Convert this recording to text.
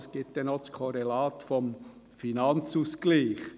Es gibt dann noch das Korrelat des Finanzausgleichs.